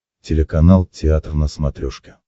телеканал театр на смотрешке